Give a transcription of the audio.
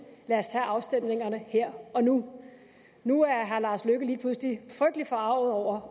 lad os tage afstemningerne her og nu nu er herre lars løkke rasmussen lige pludselig frygtelig forarget over